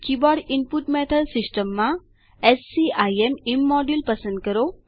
keyboard input method system માં scim ઇમોડ્યુલ પસંદ કરો